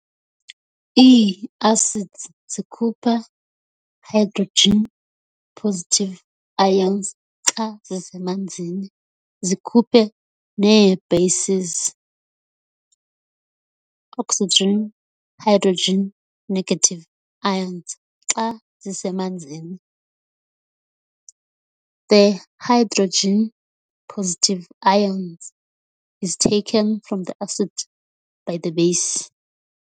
Ii-Acids zikhupha Hplus i-ions xa zisemanzini, zikhuphe nee-bases OH− ions xa zisemanzini. The Hplus ion is taken from the acid by the base.